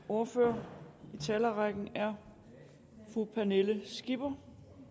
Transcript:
ordfører i talerrækken er fru pernille skipper